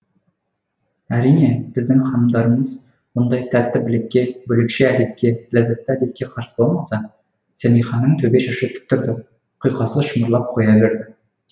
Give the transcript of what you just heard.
әрине біздің ханымдарымыз бұндай тәтті тілекке бөлекше әдетке ләззәтті әдетке қарсы болмаса сэмиханың төбе шашы тік тұрды құйқасы шымырлап қоя берді